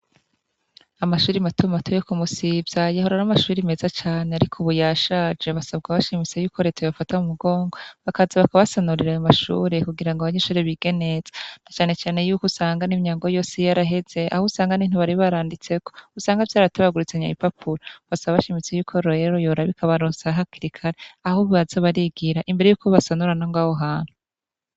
Amashuri matuma batu yo kumusivya yehorara amashuri meza cane, ariko ubuya shaje basabwa bashimise yuko retaye bafata mu mugongwa bakaza bakabasanurira aye mashure kugira ngo abanye inshore bigeneza na canecane yuko usangan'imyango yose iyo araheze aho usangane ntubaribaranditse usanga vyaratabagurutsanya bi papulo basa a bashimitse yuko royelo yorabikaba rosa hakilikali ahubwo azobarigira imbere yuko basanurana ngo awo hantu.